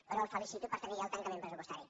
però el felicito per tenir ja el tancament pressupostari